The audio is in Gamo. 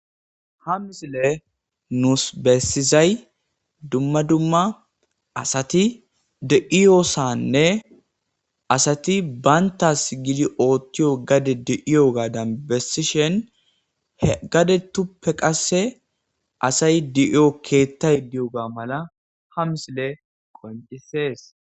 ha misile nuus bessizay dumma dumma asati de'iyosanne asati banta sigili oothtiyo gade di7iyo gaadan bessishen h gade tuppe qasse asay di7io keettay di7oga mala ha misile qoncisees